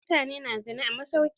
Wasu mutane na zina ne a masauki.